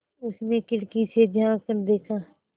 उसने खिड़की से झाँक कर देखा